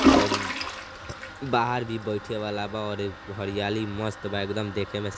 और त् बाहर भी बईथे वाला बा और हरियाली मस्त एकदम देखे में स् --